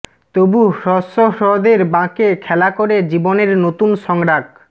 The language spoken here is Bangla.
তবু হ্রস্ব হ্রদের বাঁকে খেলা করে জীবনের নতুন সংরাগ